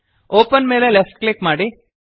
open ಮೇಲೆ left click ಮಾಡಿ